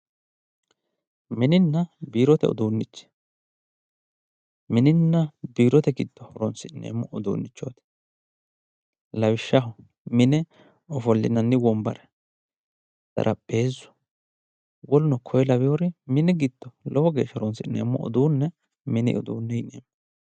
mininna biirote uduunnichi mininna biirote giddo horonsi'neemmorichooti lawishshaho mine ofollinanni wombare xarapheezu woluno kuri laweeri mini giddo lowo geeshsha horonsi'neemmo uduunne mini uduunne yineemmo.